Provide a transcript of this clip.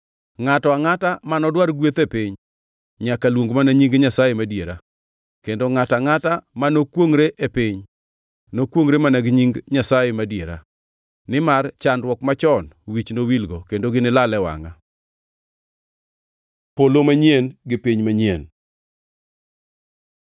Ngʼato angʼata mano dwar gweth e piny nyaka luong mana nying Nyasaye madiera; kendo ngʼato angʼata ma nokwongʼre e piny, nokwongʼre mana gi nying Nyasaye madiera. Nimar chandruok machon wich nowilgo, kendo ginilal e wangʼa.” Polo manyien gi piny manyien